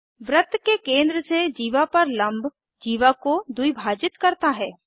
वृत्त के केंद्र से जीवा पर लम्ब जीवा को द्विभाजित करता है